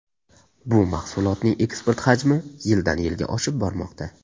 Bu mahsulotning eksport hajmi yildan-yilga oshib bormoqda.